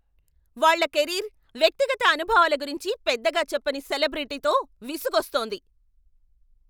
వాళ్ళ కెరీర్, వ్యక్తిగత అనుభవాల గురించి పెద్దగా చెప్పని సెలబ్రిటీతో విసుగొస్తుంది.